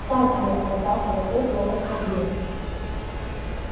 сам алло раздался в ответ голос сергея